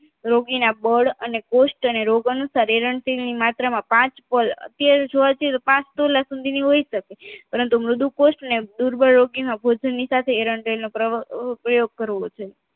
રોગીના બળ અને ગૂસ્ટ અને રોગ અનુસાર એરન્ટી ની માત્રામાં પાંચ કોલ અત્યારે જોવા જઈએ તો પાંચ તોલા જેટલું હોય સકે પરંતુ મૃદુ કોષ્ટને દુર્બળ રોગીને ભોજનની સાથે એરન્ટી નો પ્ર પ્રયોગ કરવો જોઈએ